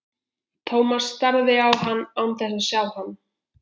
Thomas starði á hann án þess að sjá hann.